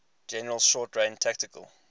general short range tactical